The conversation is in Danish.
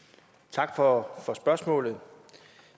tak for